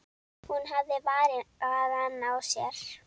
Hún hafði varann á sér.